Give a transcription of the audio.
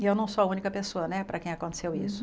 E eu não sou a única pessoa né para quem aconteceu isso.